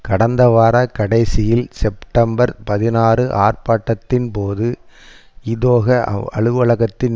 கடந்த வார கடைசியில் செப்டெம்பர் பதினாறு ஆர்ப்பாட்டத்தின் போது இதொகா அலுவலகத்தின்